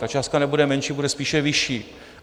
Ta částka nebude menší, bude spíše vyšší.